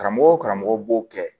Karamɔgɔw karamɔgɔ b'o kɛ